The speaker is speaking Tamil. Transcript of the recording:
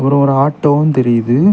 அப்புறம் ஒரு ஆட்டோவும் தெரியுது.